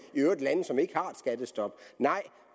i øvrigt lande som ikke har skattestop nej